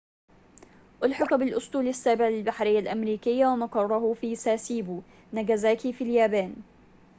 أُلحق بالأسطول السابع للبحرية الأمريكية ومقره في ساسيبو ناجازاكي في اليابان